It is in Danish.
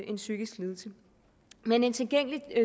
en psykisk lidelse men en tilgængelig